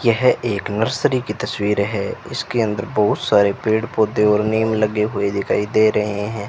यह एक नर्सरी की तस्वीर है इसके अंदर बहुत सारे पेड़ पौधे और नीम लगे हुए दिखाई दे रहे हैं।